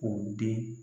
K'o den